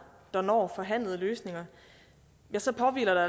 der når forhandlede løsninger ja så påhviler der